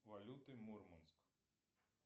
валюты мурманск